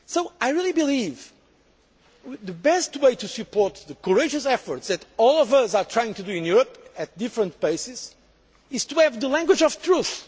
I believe the best way to support the courageous efforts that all of us are trying to make in Europe at different paces is to have the language of truth.